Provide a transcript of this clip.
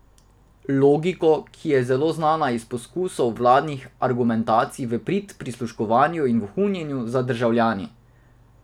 Logiko, ki je zelo znana iz poskusov vladnih argumentacij v prid prisluškovanju in vohunjenju za državljani.